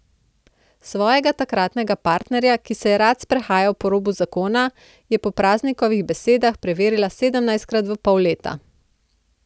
Svojega takratnega partnerja, ki se je rad sprehajal po robu zakona, je po Praznikovih besedah preverila sedemnajstkrat v pol leta.